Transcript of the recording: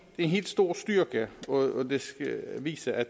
en helt stor styrke og det skal vise at